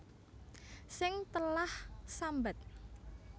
Sing telah sambat